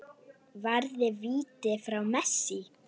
Varði víti frá Messi.